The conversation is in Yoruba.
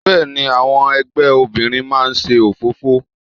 Bẹ́ẹ̀ni, àwọn ẹgbẹ́ obìnrin máa ń ṣe òfófó.